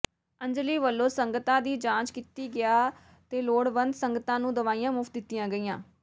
ਅੰਜਲੀ ਵੱਲੋਂ ਸੰਗਤਾਂ ਦੀ ਜਾਂਚ ਕੀਤੀ ਗਿਆ ਤੇ ਲੋੜਵੰਦ ਸੰਗਤਾਂ ਨੂੰ ਦਵਾਈਆਂ ਮੁਫ਼ਤ ਦਿੱਤੀਆਂ ਗਈਆਂ